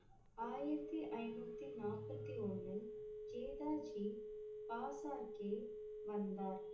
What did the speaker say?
ஆயிரத்தி ஐந்நூத்தி நாற்பத்தி ஒண்ணில் ஜேதா ஜி பேசார்க்கே வந்தார்.